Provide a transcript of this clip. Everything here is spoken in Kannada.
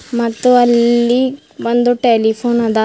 ಮತ್ತು ಅಲ್ಲಿ ಒಂದು ಟೆಲಿಫೋನ್ ಅದ.